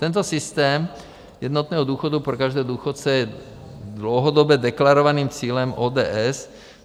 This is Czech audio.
Tento systém jednotného důchodu pro každého důchodce je dlouhodobě deklarovaným cílem ODS.